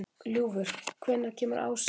Ljúfur, hvenær kemur ásinn?